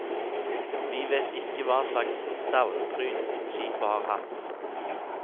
Vi vet ikke hva slags stavnpryd skipet har hatt.